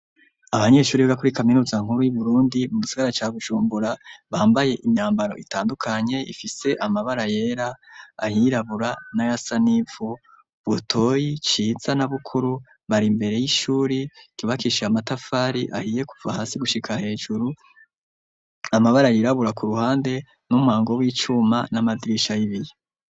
Abanyeshuri biga kuri kaminuza nkuru yu Burundi bo mu migisagara ca Bujumbura bambaye imyambaro itandukanye ifise amabara yera ayirabura na yasanivu Butoyi Ciza na Bukuru bari imbere y'ishuri kibakishiye amatafari ahiye kuva hasi gushika hejuru amabara yirabura ku ruhande n'umuhango w'icuma n'amadirisha y'ibiyo.